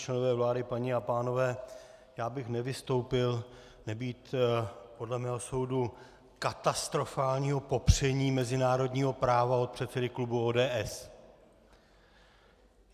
Členové vlády, paní a pánové, já bych nevystoupil nebýt podle mého soudu katastrofálního popření mezinárodního práva od předsedy klubu ODS.